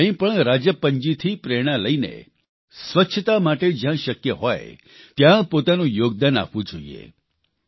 આપણે પણ રાજપ્પનજીથી પ્રેરણા લઇને સ્વચ્છતા માટે જયાં શક્ય હોય ત્યાં પોતાનું યોગદાન આપવું જોઇએ